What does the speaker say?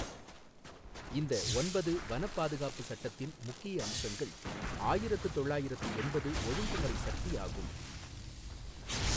இந்த ஒன்பது வன பாதுகாப்பு சட்டத்தின் முக்கிய அம்சங்கள் ஆயிரத்து தொள்ளாயிரத்து எண்பது ஒழுங்குமுறை சக்தி ஆகும்.